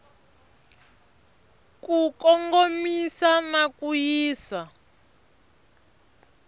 ku kongomisa na ku yisa